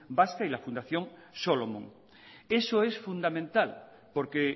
vasca y la fundación solomon eso es fundamental porque